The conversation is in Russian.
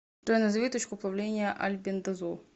джой назови точку плавления альбендазол